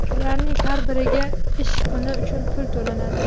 Ularning har biriga ish kuni uchun pul to‘lanadi.